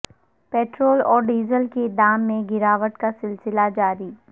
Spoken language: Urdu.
پٹرول اور ڈیزل کے دام میں گراوٹ کا سلسلہ جاری